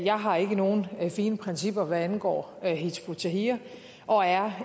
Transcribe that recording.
jeg har ikke nogen fine principper hvad angår hizb ut tahrir og er